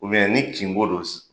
ni kinko don